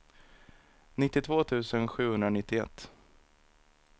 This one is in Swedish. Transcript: nittiotvå tusen sjuhundranittioett